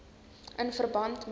in verband met